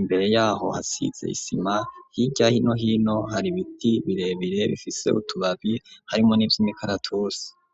imbere yaho hasize isima hirya no hino hari biti birebire bifise utubabi harimwo n'ivyimikaratusi.